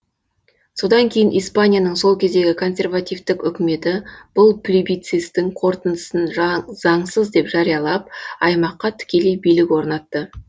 содан кейін испанияның сол кездегі консервативтік үкіметі бұл плебицисттің қорытындысын заңсыз деп жариялап аймаққа тікелей билік орнатты